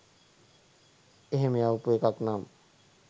එහෙම යවපු එකක් නම්